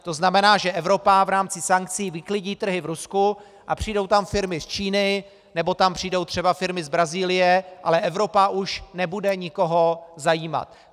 To znamená, že Evropa v rámci sankcí vyklidí trhy v Rusku a přijdou tam firmy z Číny, nebo tam přijdou třeba firmy z Brazílie, ale Evropa už nebude nikoho zajímat.